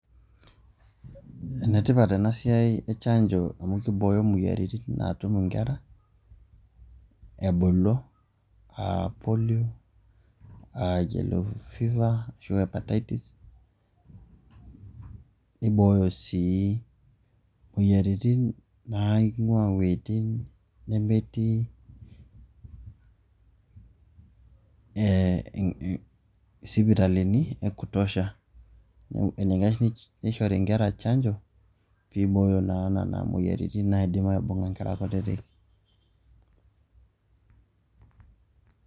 Ene tipat ena siai e chanjo amu kibooyo imoyiaritin naatum nkera ebulu a polio, yellow fever, ashu hepatatis, nibooyo sii moyiaritin naing'ua iweitin nemetii sipitalini e kutosha. enikash nishori nkera chanjo piiboyo naa nena moyiaritin naidim aibung'a nkera kutitik.